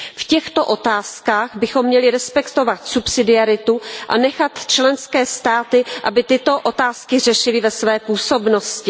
V těchto otázkách bychom měli respektovat subsidiaritu a nechat členské státy, aby tyto otázky řešily ve své působnosti.